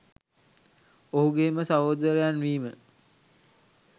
ඔහුගෙම සහොදරයන් විම